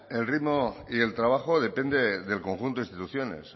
el ritmo y el trabajo depende del conjunto de instituciones